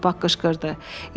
Poni papaq qışqırdı.